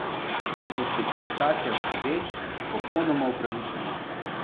In po specifikacijah sodeč, popolnoma upravičeno.